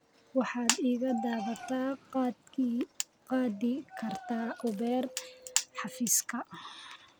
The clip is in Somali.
Waxaad iga daba qaadi kartaa Uber xafiiska